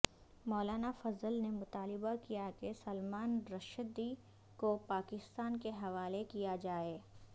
مولانا فضل نے مطالبہ کیا کہ سلمان رشدی کو پاکستان کے حوالے کیا جائے